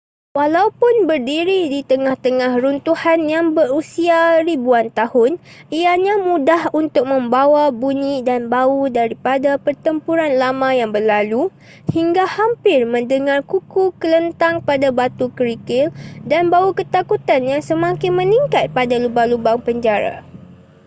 walaupun berdiri di tengah-tengah runtuhan yang berusia ribuan tahun ianya mudah untuk membawa bunyi dan bau daripada pertempuran lama yang berlalu hingga hampir mendengar kuku kelentang pada batu kerikil dan bau ketakutan yang semakin meningkat pada lubang-lubang penjara